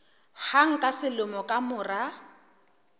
hang ka selemo ka mora